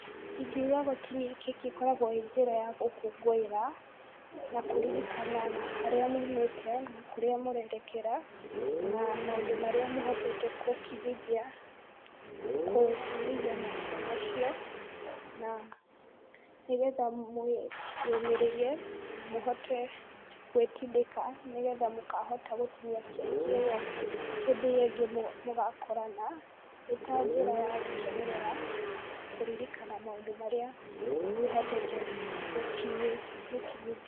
Ingiuga gũtinia keki ĩkoragwo ĩ njĩra ya gũkũngũĩra na kũririkana harĩa mumĩte na kũrĩa mũrerekera na maũndũ marĩa mũhotete gũkinyithia, gũkinyithia mahinda macio, na nĩgetha mwĩyũmĩrĩrie na mũhote gwĩtindĩka, nĩgetha mũkahota gũtinia keki ĩo hĩndĩ ĩo ĩngĩ mũgakorana, ĩtanjĩra ya gũkenerera na kũririkana maũndũ marĩa mũhotete gũkinyithia.